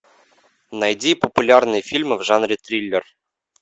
найди популярные фильмы в жанре триллер